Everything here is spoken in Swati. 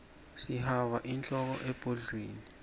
sihaba inhloko ebhudlweni